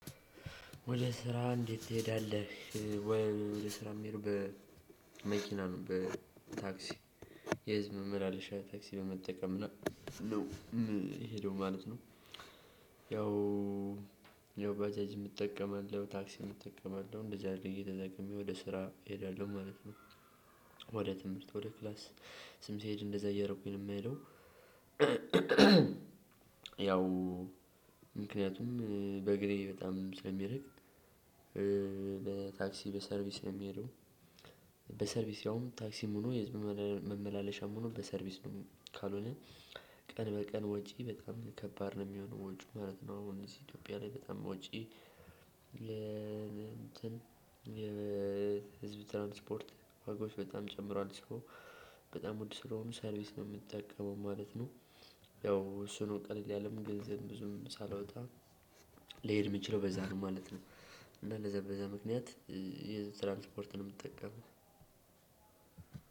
ወደ ስራ እንዴት ትሄዳለህ ወይ? ወደ ስራ ምሄደው በመኪና ነው በታክሲ የህዝብ መመላለሻ ታክሲ በመጠቀም ነው ምሄደው ማለት ነው። ያው ያው ባጃጅ እጠቀማለሁ ታክሲ እጠቀማለሁ እንደዚህ አይነት እየተጠቀመኝ ወደ ስራ እሄዳለሁ ማለት ነው። ወደ ትምህርት ወደ ክላስ ስም ሲሄድ እንደዛ እያደረኩኝ ነው ምሄደው። ያው ምክንያቱም በእግሬ በጣም ስለሚርቅ። በታክሲ በሰርቪስ ነው ሚሄደው። በሰርቪስ ያውም ታክሲም ሆኖ የህዝብ መመላለሻም ሆኖ በሰርቪስ ካልሆነ ቀን በቀን ወጪ በጣም ከባድ ነው የሚሆነው ወጪው ማለት ነው። እነዚህ ኢትዮጵያ ላይ በጣም ወጪ የ እንትን የ ህዝብ ትራንስፖርት ዋጋዎች በጣም ጨምራል ሶ በጣም ውድ ስለሆኑ ሰርቪስ ነው ምጠቀመው ማለት ነው። ያው እሱ ነው ቀለል ያለም ገንዘብ ብዙም ሳላወጣ ሊሄድ ሚችለው በዛ ነው ማለት ነው። እንደዛ በዛ ምክንያት የህዝብ ትራንስፖርት ነው ምጠቀመው።